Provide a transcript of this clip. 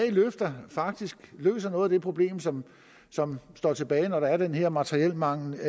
faktisk løser noget af det problem som som står tilbage når der er den her materielmangel